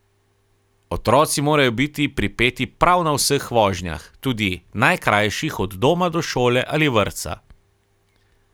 Otroci morajo biti pripeti prav na vseh vožnjah, tudi najkrajših od doma do šole ali vrtca.